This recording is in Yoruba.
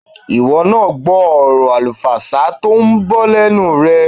Ìwọ náà gbọ́ ọ̀rọ̀ àlùfàǹsá tó ń bọ́ lẹ́nu rẹ̀.